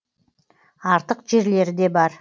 артық жерлері де бар